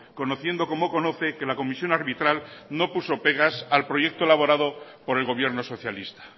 conociendo como conoce que la comisión arbitral no puso pegas al proyecto elaborado por el gobierno socialista